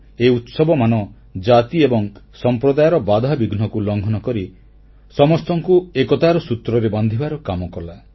ଏହି ଉତ୍ସବମାନ ଜାତି ଏବଂ ସମ୍ପ୍ରଦାୟର ବାଧାବିଘ୍ନକୁ ଲଂଘନ କରି ସମସ୍ତଙ୍କୁ ଏକତାର ସୂତ୍ରରେ ବାନ୍ଧିବାର କାମ କଲା